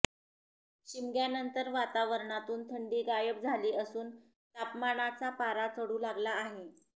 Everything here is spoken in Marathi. शिमग्यानंतर वातावरणातून थंडी गायब झाली असून तापमानाचा पारा चढू लागला आहे